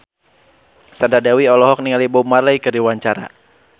Sandra Dewi olohok ningali Bob Marley keur diwawancara